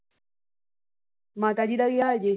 ਮਾਤਾ ਜੀ ਦਾ ਕੀ ਹਾਲ ਜੇ